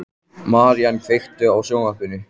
Marín, kveiktu á sjónvarpinu.